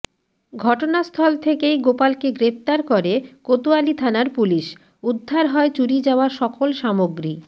ঘটনাস্থল থেকেই গোপালকে গ্রেফতার করে কোতয়ালী থানার পুলিশ উদ্ধার হয় চুরি যাওয়া সকল সামগ্রী